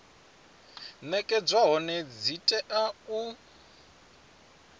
nekedzwa hone dzi tea u